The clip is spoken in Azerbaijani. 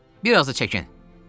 Bir az da çəkin!